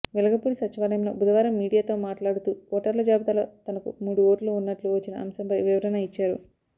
వెలగపూడి సచివాలయంలో బుధవారం మీడియాతో మాట్లాడుతూ ఓటర్ల జాబితాలో తనకు మూడు ఓట్లు ఉన్నట్లు వచ్చిన అంశంపై వివరణ ఇచ్చారు